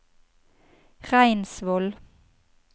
Reinsvoll